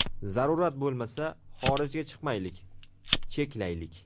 Zarurat bo‘lmasa, xorijga chiqmaylik, cheklaylik.